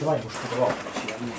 Ona nəsə verək.